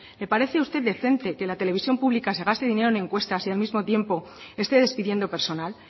le parece a usted decente que la televisión pública se gaste dinero en encuestas y al mismo tiempo esté despidiendo personal